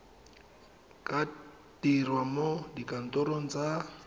ka dirwa mo dikantorong tsa